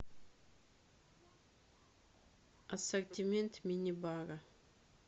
ассортимент мини бара